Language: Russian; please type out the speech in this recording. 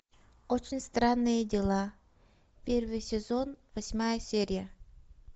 очень странные дела первый сезон восьмая серия